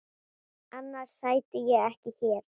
Annars sæti ég ekki hér.